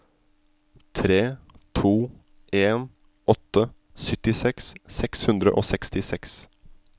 tre to en åtte syttiseks seks hundre og sekstiseks